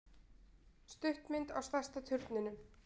Stuttmynd á stærsta turninum